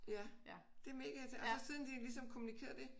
Ja det er mega irriterende og så siden de ligesom kommunikerede det